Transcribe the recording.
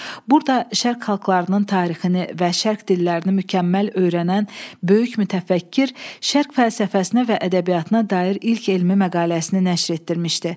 Burda şərq xalqlarının tarixini və şərq dillərini mükəmməl öyrənən böyük mütəfəkkir şərq fəlsəfəsinə və ədəbiyyatına dair ilk elmi məqaləsini nəşr etdirmişdi.